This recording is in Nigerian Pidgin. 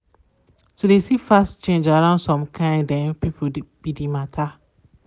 to de see fast change around some kind um people be de matter.